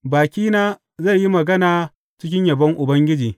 Bakina zai yi magana cikin yabon Ubangiji.